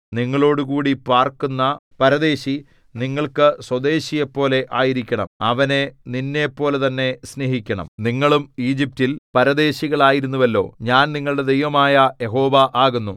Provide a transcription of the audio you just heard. നിങ്ങളോടുകൂടി പാർക്കുന്ന പരദേശി നിങ്ങൾക്ക് സ്വദേശിയെപ്പോലെ ആയിരിക്കണം അവനെ നിന്നെപ്പോലെതന്നെ സ്നേഹിക്കണം നിങ്ങളും ഈജിപ്റ്റിൽ പരദേശികളായിരുന്നുവല്ലോ ഞാൻ നിങ്ങളുടെ ദൈവമായ യഹോവ ആകുന്നു